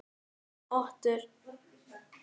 Otur, heyrðu í mér eftir fimmtíu og níu mínútur.